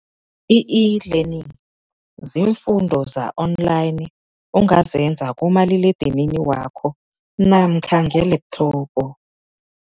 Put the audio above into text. I-e-learning ziimfundo za-online, ongazenza kumaliledinini wakho namkha ngelepthobho.